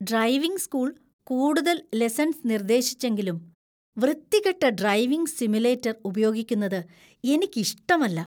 Driving school കൂടുതൽ lessons നിർദ്ദേശിച്ചെങ്കിലും, വൃത്തികെട്ട ഡ്രൈവിംഗ് സിമുലേറ്റർ ഉപയോഗിക്കുന്നത് എനിക്ക് ഇഷ്ടമല്ല .